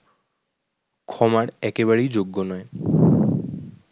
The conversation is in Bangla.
ক্ষমার একেবারেই যোগ্য নয়।